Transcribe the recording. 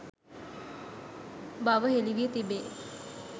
බව හෙළි වී තිබේ.